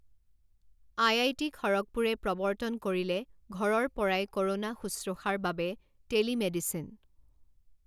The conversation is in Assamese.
আইআইটি খড়গপুৰে প্ৰৱৰ্তন কৰিলে ঘৰৰ পৰাই ক’ৰোনা শুশ্ৰূষাৰ বাবে টেলিমেডিচিন